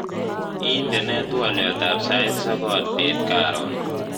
Indenee twoliatab sait sokol bet karon